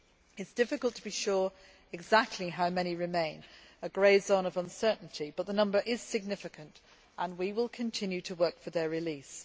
It is difficult to be sure exactly how many remain, as there is a grey zone of uncertainty, but the number is significant, and we shall continue to work for their release.